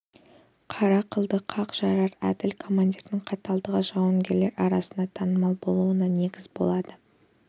қара қылды қақ жарар әділ командирдің қаталдығы жауынгерлер арасында танымал болуына негіз болады